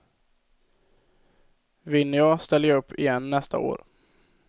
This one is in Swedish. Vinner jag ställer jag upp igen nästa år.